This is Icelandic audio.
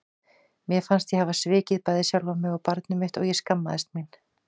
Mér fannst ég hafa svikið bæði sjálfa mig og barnið mitt og ég skammaðist mín.